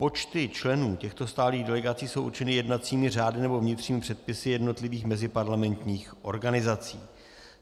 Počty členů těchto stálých delegací jsou určeny jednacími řády nebo vnitřními předpisy jednotlivých meziparlamentních organizací.